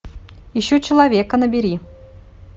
ищу человека набери